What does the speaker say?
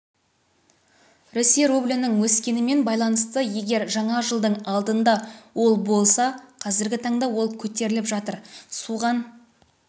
ресей рублінің өскенімен байланысты егер жаңа жылдың алдында ол болса қазіргі таңда ол көтеріліп жатыр соған